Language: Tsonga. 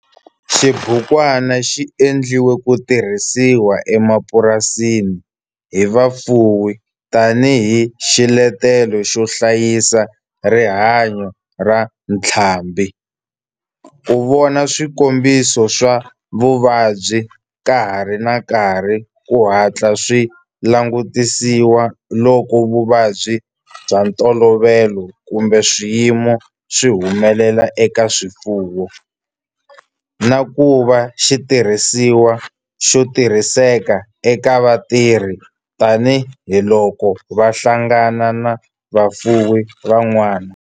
Xibukwana xi endliwe ku tirhisiwa emapurasini hi vafuwi tani hi xiletelo xo hlayisa rihanyo ra ntlhambhi, ku vona swikombiso swa vuvabyi ka ha ri na nkarhi ku hatla swi langutisiwa loko vuvabyi bya ntolovelo kumbe swiyimo swi humelela eka swifuwo, na ku va xitirhisiwa xo tirhiseka eka vatirhi tani hi loko va hlangana na vafuwi van'wana.